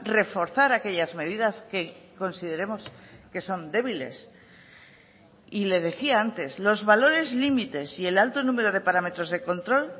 reforzar aquellas medidas que consideremos que son débiles y le decía antes los valores límites y el alto número de parámetros de control